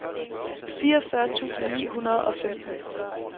fireogfyrre tusind ni hundrede og femten